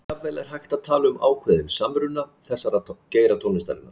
Jafnvel er hægt að tala um ákveðinn samruna þessara geira tónlistarinnar.